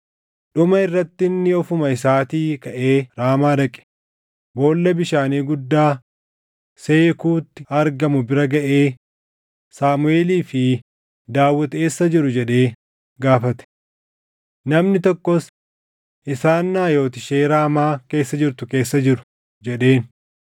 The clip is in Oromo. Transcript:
Dhuma irratti inni ofuma isaatii kaʼee Raamaa dhaqe; boolla bishaanii guddaa Seekuutti argamu bira gaʼee, “Saamuʼeelii fi Daawit eessa jiru?” jedhee gaafate. Namni tokkos, “Isaan Naayot ishee Raamaa keessa jirtu keessa jiru” jedheen.